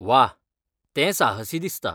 वा! तें साहसी दिसता.